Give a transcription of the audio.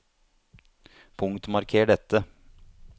Punktmarker dette